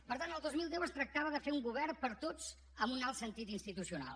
per tant el dos mil deu es tractava de fer un govern per a tots amb un alt sentit institucional